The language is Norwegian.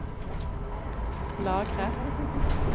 lagre